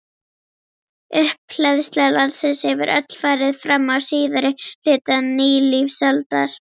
Upphleðsla landsins hefur öll farið fram á síðari hluta nýlífsaldar.